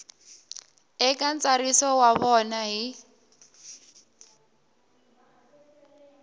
eka ntsariso wa vona hi